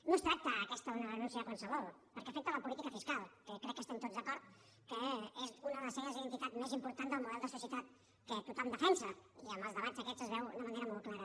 no es tracta aquesta d’una renúncia qualsevol perquè afecta la política fiscal que crec que estem tots d’acord que és una de les senyes d’identitat més important del model de societat que tothom defensa i en els debats aquests es veu de manera molt clara